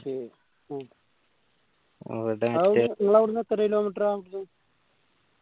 നിങ്ങളവിടെന്ന് എത്ര kilometer ആ അവിടെന്ന്